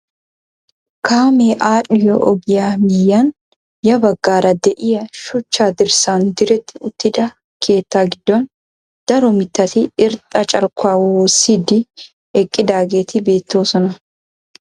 Kaamee adhiyoo ogiyaa miyiyaan ya baggaara de'iyaa shuchcha dirssaan diretti uttida keettaa giddon daro mittati irxxa carkkuwaa woossiidi eqqidaageeti beettoosona.